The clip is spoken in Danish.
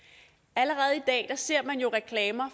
allerede i dag ser man jo reklamer